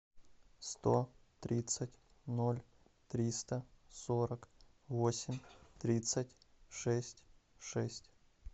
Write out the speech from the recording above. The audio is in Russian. сто тридцать ноль триста сорок восемь тридцать шесть шесть